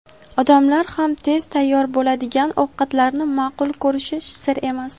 Odamlar ham tez tayyor bo‘ladigan ovqatlarni ma’qul ko‘rishi sir emas.